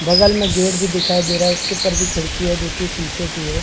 बगल में गेट भी दिखाई दे रहा हैउसके ऊपर भी खिड़की है जो कि शीशे की है ।